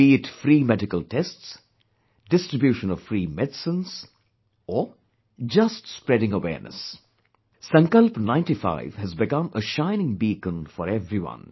Be it free medical tests, distribution of free medicines, or, just spreading awareness, 'Sankalp Ninety Five' has become a shining beacon for everyone